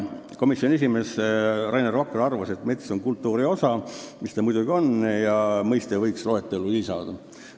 Komisjoni esimees Rainer Vakra arvas, et mets on kultuuri osa – mida ta muidugi on – ja selle mõiste võiks loetellu lisada.